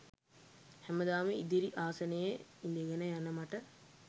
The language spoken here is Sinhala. හැමදාම ඉදිරි ආසනයේ ඉඳගෙන යන මට